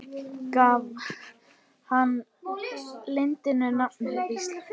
Gaf hann landinu nafnið Ísland.